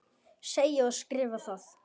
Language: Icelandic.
Segi og skrifa það.